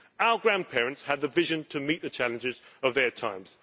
Our grandparents had the vision to meet the challenges of their times.